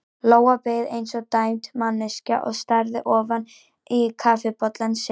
Lóa beið eins og dæmd manneskja og starði ofan í kaffibollann sinn.